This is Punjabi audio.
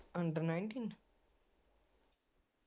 under nineteen